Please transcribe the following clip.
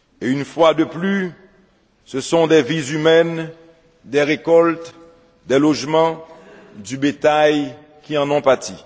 Une fois de plus, ce sont des vies humaines, des récoltes, des logements, du bétail, qui en ont pâti.